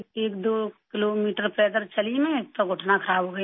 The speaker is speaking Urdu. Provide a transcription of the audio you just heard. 2 کلومیٹر پیدل چلی میں تو گھٹنا خراب ہوگیا میرا